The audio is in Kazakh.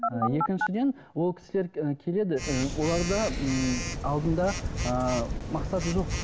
і екіншіден ол кісілер і келеді і оларда ммм алдында ыыы мақсаты жоқ